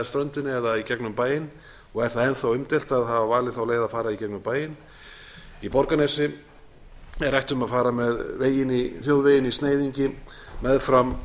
ströndinni eða í gegnum bæinn og er það enn þá umdeilt að hafa valið þá leið að fara í gegnum bæinn í borgarnesi er rætt um að fara með þjóðveginn í sneiðingi meðfram